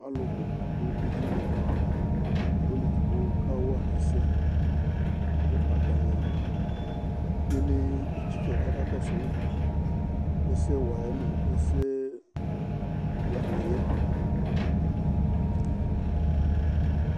Alʋ bʋ dʋ edini Ɔlʋ edigbo kawa ɛsɛ kʋ atanɩ kelee etsikǝ kʋ akakɔsʋ ɛsɛwa yɛ nʋ ɛsɛwanɩ yɛ